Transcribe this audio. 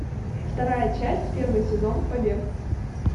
вторая часть первый сезон побег